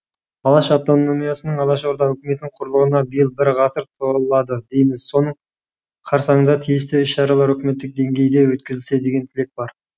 алаш автономиясының алашорда үкіметінің құрылғанына биыл бір ғасыр толады дейміз соның қарсаңында тиісті іс шаралар үкіметтік деңгейде өткізілсе деген тілек бар